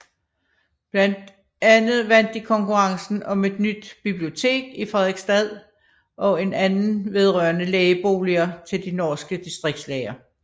Blandt andet vandt de konkurrencen om et nyt bibliotek i Fredrikstad og en anden vedrørende lægeboliger til de norske distriktslæger